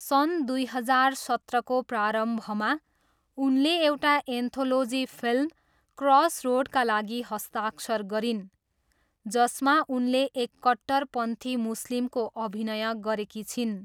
सन् दुई हजार सत्रको प्रारम्भमा, उनले एउटा एन्थोलोजी फिल्म क्रसरोडका लागि हस्ताक्षर गरिन्, जसमा उनले एक कट्टरपन्थी मुस्लिमको अभिनय गरेकी छिन्।